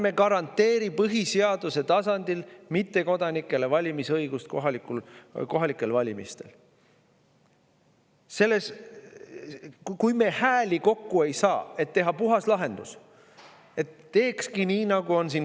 Ärme garanteerime põhiseaduse tasandil mittekodanikele valimisõigust kohalikel valimistel!